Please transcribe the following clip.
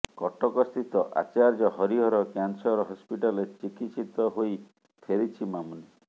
କଟକସ୍ଥିତ ଆଚାର୍ଯ୍ୟ ହରିହର କ୍ୟାନସର ହସ୍ପିଟାଲରେ ଚିକିତ୍ସିତ ହୋଇ ଫେରିଛି ମାମୁନି